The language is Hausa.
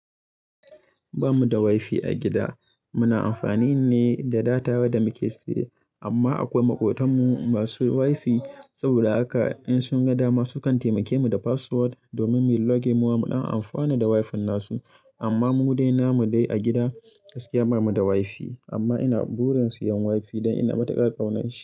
Ba mu da wifi a gida. Muna amfani ne da data da muke siye. Amma akwai maƙotanmu masu wifi. Saboda haka in sun ga dama, sukan taimake mu da password domin mu yi login mu ma mu ɗan amfana da wifin nasu. Amma mu dai, namu dai a gida, gaskiya ba mu da wifi. Amma ina burin siyan wifi don ina matukar kaunar shi.